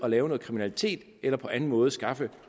at lave noget kriminalitet eller på anden måde skaffe